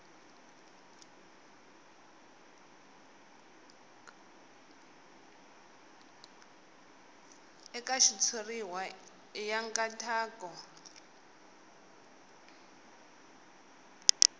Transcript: eka xitshuriwa i ya nkhaqato